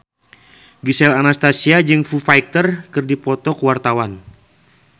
Gisel Anastasia jeung Foo Fighter keur dipoto ku wartawan